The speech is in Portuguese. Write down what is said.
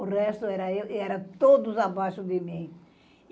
O resto era eu e era todos abaixo de mim.